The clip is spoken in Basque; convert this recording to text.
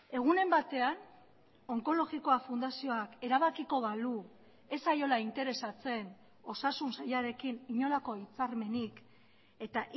egunen batean onkologikoa fundazioak erabakiko balu ez zaiola interesatzen osasun sailarekin inolako hitzarmenik eta